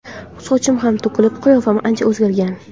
Sochim ham to‘kilib, qiyofam ancha o‘zgargan.